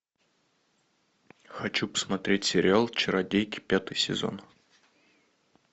хочу посмотреть сериал чародейки пятый сезон